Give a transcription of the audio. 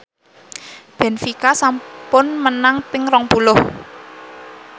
benfica sampun menang ping rong puluh